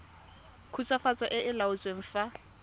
khutswafatso e e laotsweng fa